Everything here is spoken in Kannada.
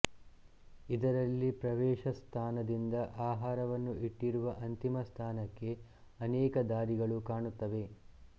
ಇದರಲ್ಲಿ ಪ್ರವೇಶಸ್ಥಾನದಿಂದ ಆಹಾರವನ್ನು ಇಟ್ಟಿರುವ ಅಂತಿಮಸ್ಥಾನಕ್ಕೆ ಅನೇಕ ದಾರಿಗಳು ಕಾಣುತ್ತವೆ